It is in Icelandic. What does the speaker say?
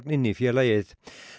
inn í félagið